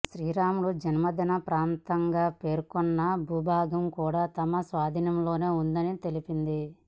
శ్రీరాముడు జన్మించిన ప్రాంతంగా పేర్కొంటున్న భూభాగం కూడా తమ స్వాధీనంలోనే ఉందని తెలిపింది